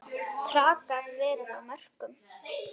Traðkað verið á mörkum.